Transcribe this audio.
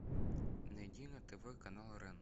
найди на тв канал рен